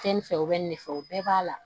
Fɛn nin fɛ o bɛ nin de fɛ o bɛɛ b'a la